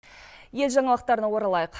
ел жаңалықтарына оралайық